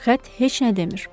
Xətt heç nə demir.